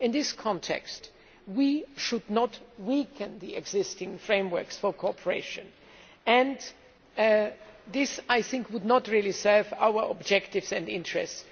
In this context, we should not weaken the existing frameworks for cooperation as this would not really serve our objectives and interests.